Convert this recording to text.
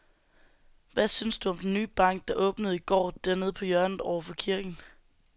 Hvad synes du om den nye bank, der åbnede i går dernede på hjørnet over for kirken?